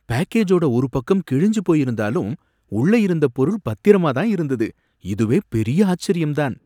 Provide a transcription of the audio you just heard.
பேக்கேஜோட ஒரு பக்கம் கிழிஞ்சி போயிருந்தாலும் உள்ள இருந்த பொருள் பத்திரமா தான் இருந்தது, இதுவே பெரிய ஆச்சரியம் தான்!